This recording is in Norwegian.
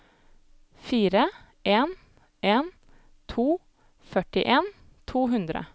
fire en en to førtien to hundre